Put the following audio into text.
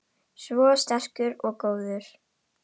Svo sterkur og góður.